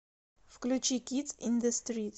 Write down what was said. включи кидс ин зе стрит